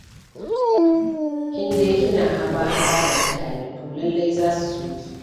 In dai kina haba-haba da mutane, to lallai za su so ki.